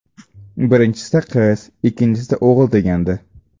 Birinchisida qiz, ikkinchisida o‘g‘il degandi.